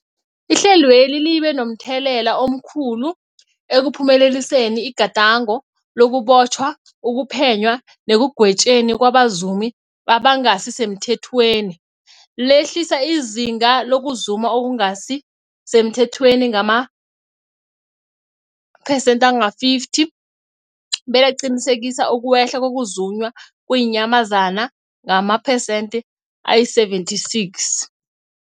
Ihlelweli libe momthelela omkhulu ekuphumeleliseni igadango lokubotjhwa, ukuphenywa nekugwetjweni kwabazumi abangasisemthethweni, lehlisa izinga lokuzuma okungasi semthethweni ngamaphesenthe-50, belaqinisekisa ukwehla kokuzunywa kweenyamazana ngamaphesenthe-76.